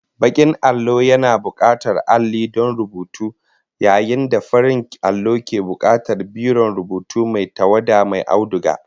Bakin allo yana bukatar alli don rubutu yayin da farin allo ke bukatar biron rubutu mai tawada mai auduga